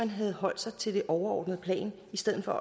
havde holdt sig til det overordnede plan i stedet for